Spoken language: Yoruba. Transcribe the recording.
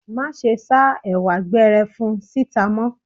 Má ṣe ṣáá Ẹ̀wà gberefun síta mọ́!